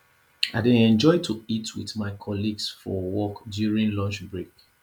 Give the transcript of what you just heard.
i dey enjoy to eat with my colleagues for work during lunch break